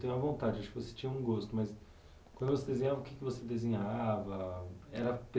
tenho uma vontade, tipo assim tinha um gosto, mas quando você desenhava, o que você desenhava? Era